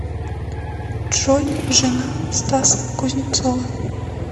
джой жена стаса кузнецова